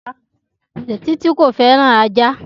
Títí kò fẹ́ràn ajá